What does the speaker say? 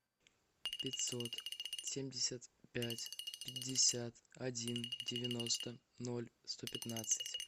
пятьсот семьдесят пять пятьдесят один девяносто ноль сто пятнадцать